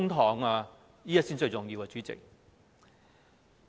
這點才是最重要的，主席。